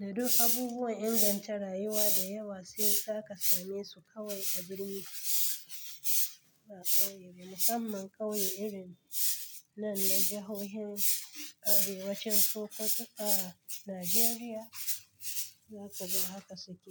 Da duk abubuwan ingan ta rayuwa da yewa sai ka same su kawai a birni ba ƙauye ba. Musamman ƙauye irin nan na jahohin arewacin ko duka Najeriya, za ka ga haka suke.